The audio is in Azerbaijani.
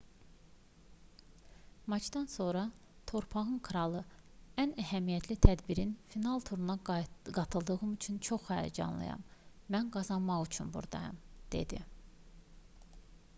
maçdan sonra torpağın kralı ən əhəmiyyətli tədbirin final turuna qayıtdığım üçün çox həyəcanlıyam mən qazanmaq üçün buradayam dedi